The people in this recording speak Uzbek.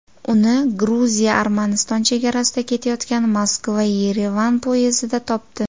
Uni Gruziya-Armaniston chegarasida ketayotgan Moskva-Yerevan poyezdida topdi.